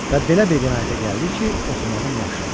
Və belə bir qənaətə gəldi ki, oxumağım yaxşıdır.